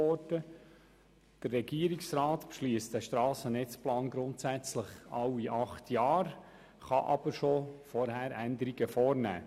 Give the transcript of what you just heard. Der Regierungsrat beschliesst diesen grundsätzlich alle acht Jahre, kann aber bereits vorher Änderungen vornehmen.